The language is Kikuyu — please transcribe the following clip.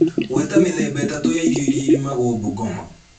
Gweta mĩthemba ĩtatũ ya irio iria irĩmagwo Bungoma